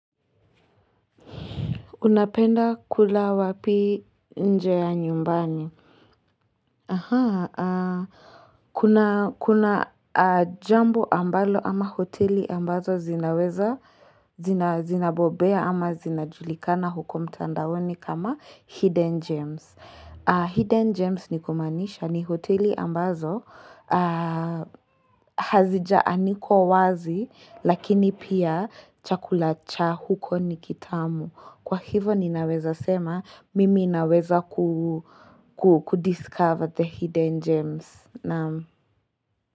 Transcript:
Unapenda kula wapi nje ya nyumbani? Aha. Kuna jambo ambalo ama hoteli ambazo zinaweza, zinabobea ama zinajulikana huko mtandaoni kama Hidden Gems. Hidden Gems ni kumaanisha ni hoteli ambazo hazija anikwa wazi lakini pia chakula cha huko ni kitamu. Kwa hivo ninaweza sema mimi naweza kudiscover the hidden gems.